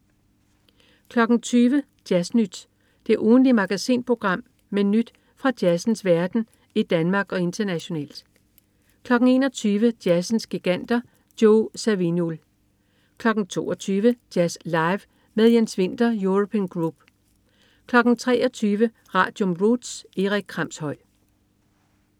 20.00 Jazz Nyt. Det ugentlige magasinprogram med nyt fra jazzens verden i Danmark og internationalt 21.00 Jazzens giganter. Joe Zawinul 22.00 Jazz Live med Jens Winther European Group 23.00 Radium. Roots. Erik Kramshøj